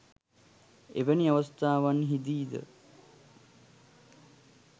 එවැනි අවස්ථාවන්හිදී ද